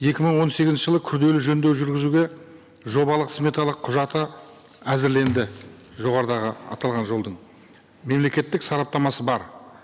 екі мың он сегізінші жылы күрделі жөндеу жүргізуге жобалық сметалық құжаты әзірленді жоғарыдағы аталған жолдың мемлекеттік сараптамасы быр